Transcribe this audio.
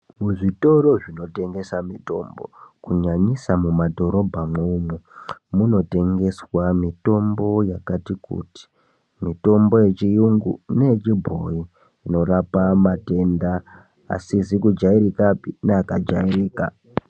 Muzvitoro zvinotengese mutombo kunyanyisa mumadhorobha imwomo munotengeswa mitombo yakati kuti mitombo yechiyungu neyechibhoyu inorapa matenda asizi kujairikapi neakajairika.